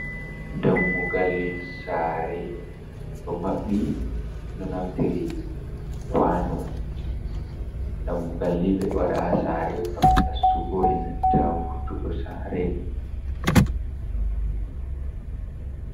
Dammugal sa're ɗo maɓɓi ɓeɗo naftiri kwano dammugalni ɓe ɗowaɗa ha sa're gam nasugo enanta wurtugo sa're.